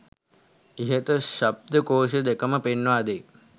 ඉහත ශබ්ද කෝෂ දෙකම පෙන්වා දෙයි.